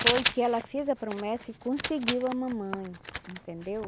Foi que ela fez a promessa e conseguiu a mamãe, entendeu?